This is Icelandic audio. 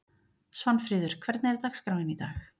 Svanfríður, hvernig er dagskráin í dag?